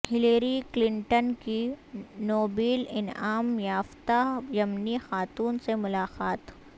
Hillary Clinton کی Nobel انعام یافتہ یمنی خاتون سے ملاقات